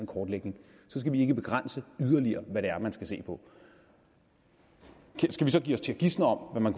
kortlægning så skal vi ikke begrænse yderligere hvad man skal se på skal vi så give os til at gisne om hvad man